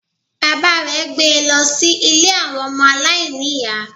Bàbá rè gbé e lọ sí Ilé àwọn ọmọ aláìníìyá